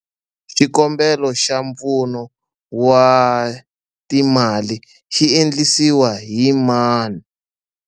Xikombelo xa mpfuno wa timali xi endlisiwa yi mani?